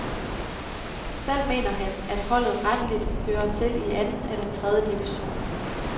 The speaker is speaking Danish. Selv mener han, at holdet retteligt hører til i anden eller tredje division.